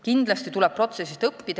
Kindlasti tuleb protsessist õppida.